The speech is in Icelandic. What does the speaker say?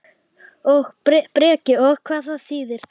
Breki: Og hvað þýðir það?